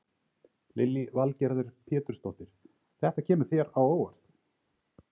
Lillý Valgerður Pétursdóttir: Þetta kemur þér á óvart?